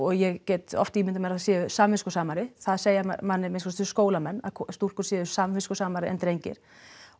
ég get oft ýmindað mér að þær séu samviskusamari þær segja manni að minnsta kosti skólamenn að stúlkur séu samviskusamari en drengir og